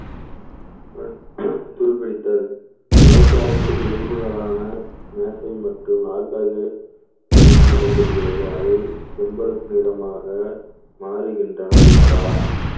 துருப்பிடித்தல் மழைக்காலங்களில் இரும்புகளான மேசை மற்றும் நாற்காலிகளில் என்ன நடைபெறுகிறது அவை செம்பழுப்பு நிறமாக மாறுகின்றன அல்லவா